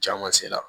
Ca ma se la